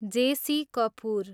JC. Kapoor